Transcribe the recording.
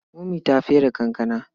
Momi ta fere kankana.